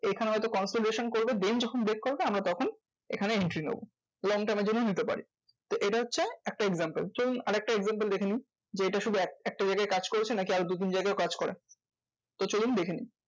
এখানে হয়তো consolidation করবে then যখন break করবে আমরা তখন এখানে entry নেবো। long term এর জন্য নিতে পারি। তো এটা হচ্ছে একটা example. চলুন আরেকটা example দেখে নিই, যে এটা শুধু এক~ একটা জাগায় কাজ করেছে না কি আরো দু তিন জাগায় কাজ করা। তো চলুন দেখে নিই